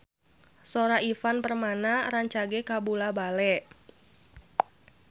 Sora Ivan Permana rancage kabula-bale